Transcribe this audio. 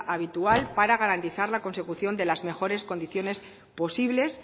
habitual para garantizar la consecución de las mejores condiciones posibles